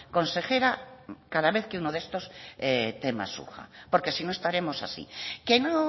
consejera cada vez que uno de estos temas surja porque si no estaremos así que no